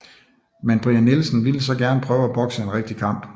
Men Brian Nielsen ville så gerne prøve at bokse en rigtig kamp